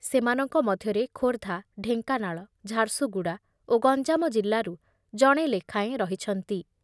ସେମାନଙ୍କ ମଧ୍ୟରେ ଖୋର୍ଦ୍ଧା, ଢେଙ୍କାନାଳ, ଝାରସୁଗୁଡ଼ା ଓ ଗଞ୍ଜାମ ଜିଲ୍ଲାରୁ ଜଣେ ଲେଖାଏଁ ରହିଛନ୍ତି ।